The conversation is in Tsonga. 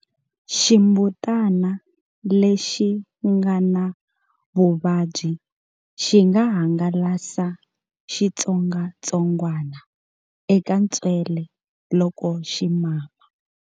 Ximbutana lexi nga na vuvabyi xi nga hangalasa xitsongwatsongwana eka ntswele loko xi mama.